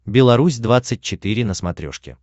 беларусь двадцать четыре на смотрешке